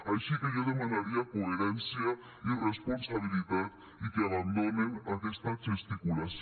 així que jo demanaria coherència i responsabilitat i que abandonen aquesta gesticulació